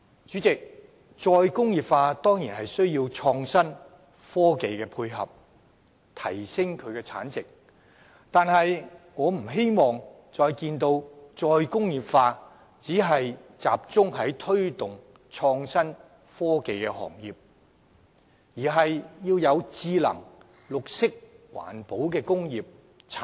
主席，"再工業化"固然需要創新和科技配合，從而提升產值，但我不希望看到"再工業化"只是再次集中於推動創新和科技行業，而是應該同時發展智能、綠色環保工業和產業。